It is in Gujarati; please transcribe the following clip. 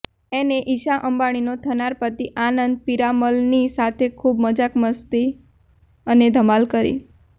એને ઇશા અંબાણીનો થનાર પતિ આનંદ પીરામલની સાથે ખૂબ મજાક મસ્તી અને ધમાલ કરી